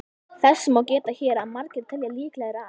Þess má geta hér að margir telja líklegra að